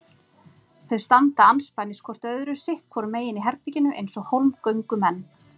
Þau standa andspænis hvort öðru sitt hvoru megin í herberginu eins og hólmgöngumenn.